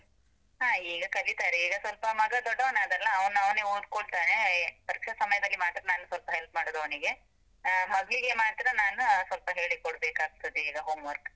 ಹಾ ಈಗ ಕಲೀತಾರೆ, ಈಗ ಸ್ವಲ್ಪ ಮಗ ದೊಡ್ಡವನಾದ ಅಲ ಅವ್ನು ಅವ್ನೇ ಓದ್ಕೊಳ್ತಾನೆ, ಪರೀಕ್ಷೆ ಸಮಯದಲ್ಲಿ ಮಾತ್ರ ನಾನ್ ಸ್ವಲ್ಪ help ಮಾಡುದು ಅವ್ನಿಗೆ, ಆಹ್ ಮಗ್ಳಿಗೆ ಮಾತ್ರ ನಾನು ಸ್ವಲ್ಪ ಹೇಳಿ ಕೊಡಬೇಕಾಗ್ತದೆ ಈಗ homework.